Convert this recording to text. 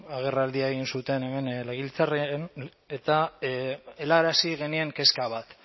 agerraldia egin zuten hemen legebiltzarrean eta helarazi genien kezka bat